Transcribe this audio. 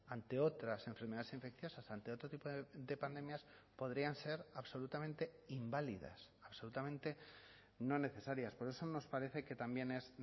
ante otras enfermedades infecciosas ante otro tipo de pandemias podrían ser absolutamente inválidas absolutamente no necesarias por eso nos parece que también es